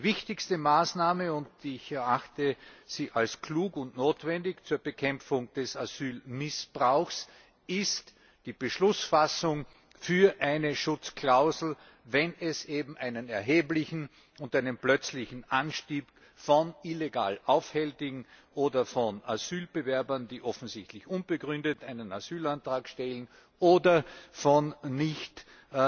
Die wichtigste Maßnahme und ich erachte sie als klug und notwendig zur Bekämpfung des Asylmissbrauchs ist die Beschlussfassung für eine Schutzklausel, wenn es einen erheblichen und einen plötzlichen Anstieg von illegal Aufhältigen oder von Asylbewerbern, die offensichtlich unbegründet einen Asylantrag stellen, oder von Fällen gibt,